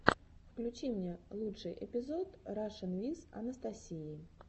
включи мне лучший эпизод рашин виз анастасии